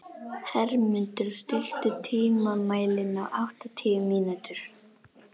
Hermundur, stilltu tímamælinn á áttatíu mínútur.